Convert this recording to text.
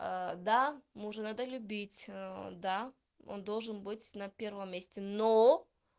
да мужа надо любить да он должен быть на первом месте но